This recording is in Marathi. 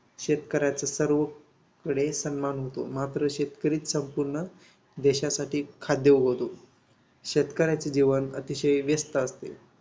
शेतकऱ्याच्या सर्वपणे सन्मान होतो. मात्र शेतकरी संपूर्ण देशासाठी खाद्य उगवतो. शेतकऱ्याचे जीवन अतिशय व्यस्थ असते.